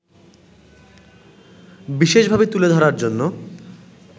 বিশেষভাবে তুলে ধরার জন্য